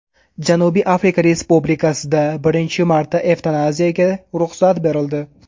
Janubiy Afrika Respublikasida birinchi marta evtanaziyaga ruxsat berildi.